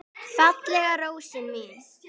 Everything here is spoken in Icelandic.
Fallega rósin mín.